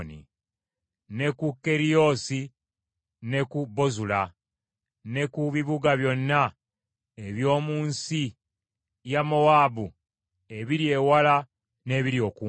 ne ku Keriyoosi ne ku Bozula ne ku bibuga byonna eby’omu nsi ya Mowaabu ebiri ewala n’ebiri okumpi.